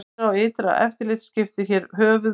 Innra og ytra eftirlit skiptir hér höfuð máli.